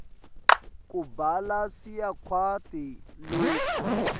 kubhala siyakwati loku